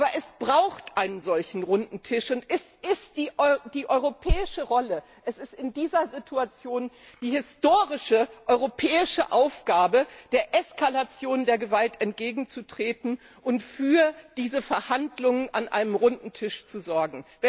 Aber es braucht einen solchen Runden Tisch, und es ist die europäische Rolle, es ist in dieser Situation die historische europäische Aufgabe, der Eskalation der Gewalt entgegenzutreten und für diese Verhandlungen an einem Runden Tisch zu sorgen.